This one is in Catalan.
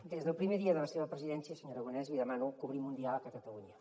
des del primer dia de la seva presidència senyor aragonès li demano que obrim un diàleg a catalunya